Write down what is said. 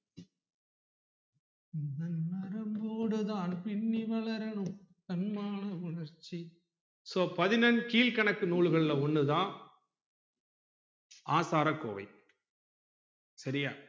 உன் நரம்போடு தான் பின்னி வளரனும் தன்மான உணர்ச்சி so பதினெண்கீழ்க்கணக்கு நூல்கள்ல ஒன்னு தான்ஆசாரகோவை சரியா